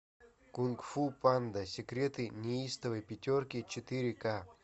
кунг фу панда секреты неистовой пятерки четыре ка